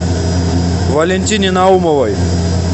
валентине наумовой